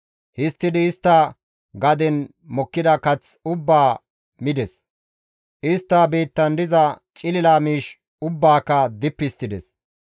Histtidi istta gaden mokkida kath ubbaa mides; istta biittan diza cilila miish ubbaaka dippi histtides.